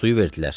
Suyu verdilər.